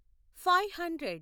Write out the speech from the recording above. five hundred